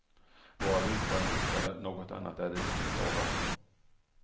Våra villkor är hotade, något annat är det inte fråga om.